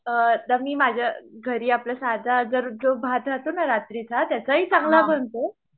अ आता मी माझ्या घरी आपला सादा जर जो भात रहातोना रात्रीचा त्यांचा ही चांगला बनतो